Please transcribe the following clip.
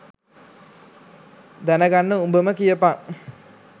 දැන ගන්න උඹම කියපන්.